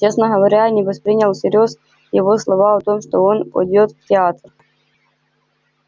честно говоря я не воспринял всерьёз его слова о том что он пойдёт в театр